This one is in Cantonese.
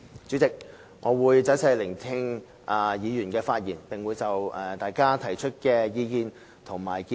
主席，我會仔細聆聽議員的發言，並會就大家提出的意見及建議作出綜合回應。